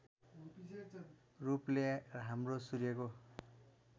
रूपले हाम्रो सूर्यको